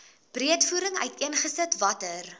breedvoerig uiteengesit watter